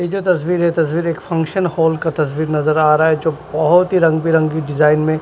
ये जो तस्वीर है तस्वीर एक फंक्शन होल का तस्वीर नजर आ रहा है जो बहुत ही रंगबिरंगी डिजाइन में--